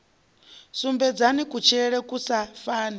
sumbedzani kutshilele ku sa fani